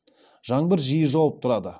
жаңбыр жиі жауып тұрады